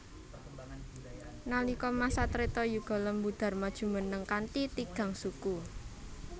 Nalika masa Treta Yuga Lembu Dharma jumeneng kanthi tigang suku